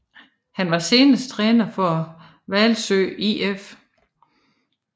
Han var senest træner for Hvalsø IF